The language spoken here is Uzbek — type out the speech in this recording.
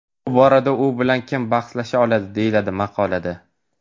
Bu borada u bilan kim bahslasha oladi, deyiladi maqolada.